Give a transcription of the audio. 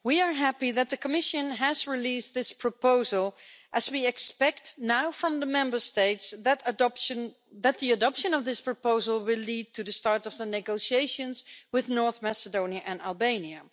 Madam President, we are happy that the Commission has released this proposal as we expect now from the Member States that the adoption of this proposal will lead to the start of the negotiations with North Macedonia and Albania.